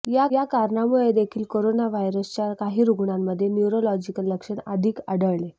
या कारणामुळे देखील करोना व्हायरसच्या काही रुग्णांमध्ये न्यूरोलॉजिकल लक्षण अधिक आढळले